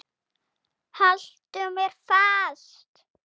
Haltu mér fast!